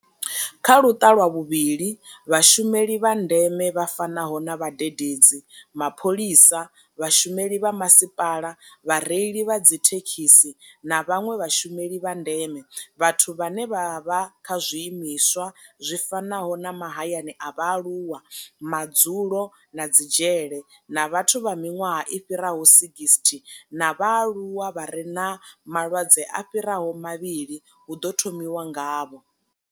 Kha Luṱa lwa vhuvhili, Vhashumeli vha ndeme vha fanaho na vhadededzi, mapholisa, vhashumeli vha masipala, vhareili vha dzithekhisi na vhanwe vhashumeli vha ndeme, vhathu vhane vha vha kha zwiimiswa zwi fanaho na mahayani a vhaaluwa, madzulo na dzi dzhele, na vhathu vha miṅwaha i fhiraho 60 na vhaaluwa vha re na malwadze a fhiraho mavhili hu ḓo thomiwa ngavho.